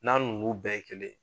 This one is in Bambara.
N'a n'ulu bɛɛ ye kelen ye